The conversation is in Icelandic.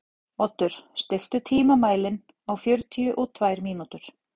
Oddur, stilltu tímamælinn á fjörutíu og tvær mínútur.